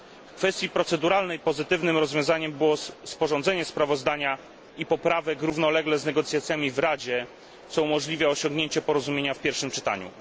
W kwestii proceduralnej pozytywnym rozwiązaniem było sporządzenie sprawozdania i poprawek równolegle z negocjacjami w Radzie, co umożliwia osiągnięcie porozumienia w pierwszym czytaniu.